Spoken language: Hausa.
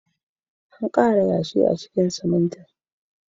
An ƙara yashi a cikin siminti.